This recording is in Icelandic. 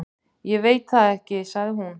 Ég veit það ekki, sagði hún.